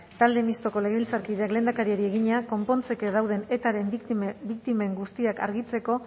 talde mistoko legebiltzarkideak lehendakariari egina konpontzeke dauden etaren biktimen guztiak argitzeko